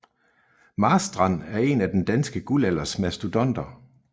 Marstrand er en af den danske guldalders mastodonter